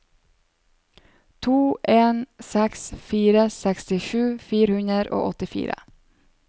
to en seks fire sekstisju fire hundre og åttifire